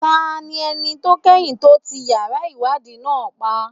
Ta ni ẹni tó kẹ́yìn tó ti yàrá ìwádìí náà pa?